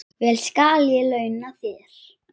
Vel skal ég launa þér.